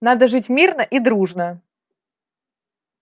надо жить мирно и дружно